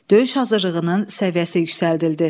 Döyüş hazırlığının səviyyəsi yüksəldildi.